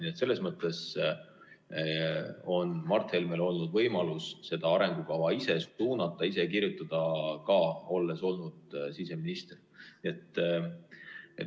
Nii et selles mõttes on Mart Helmel olnud võimalus seda arengukava ise suunata, ise kirjutada, olles siseminister.